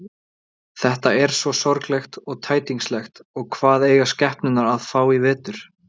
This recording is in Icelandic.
Þetta er svo sorglegt og tætingslegt og hvað eiga skepnurnar að fá í vetur.